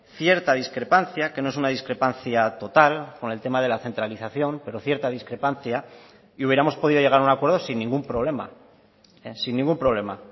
cierta discrepancia que no es una discrepancia total con el tema de la centralización pero cierta discrepancia y hubiéramos podido llegar a un acuerdo sin ningún problema sin ningún problema